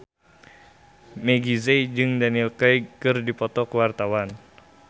Meggie Z jeung Daniel Craig keur dipoto ku wartawan